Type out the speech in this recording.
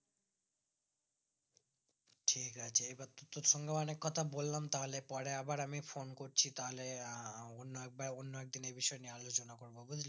ঠিক আছে এবার তো তোর সংঘে অনিক কথা বলাম তাহলে পরে আবার আমি phone করছি তাহলে অনে একবার কোনো একদিন এই বিষয় নিয়ে আলোচনা করবো বুজলি